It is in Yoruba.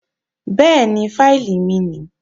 Bẹ́ẹ̀ni, fáìlì mi nìí